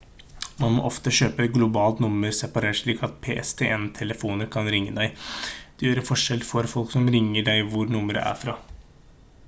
man må ofte kjøpe et globalt nummer separat slik at pstn-telefoner kan ringe til deg det gjør en forskjell for folk som ringer deg hvor nummeret er fra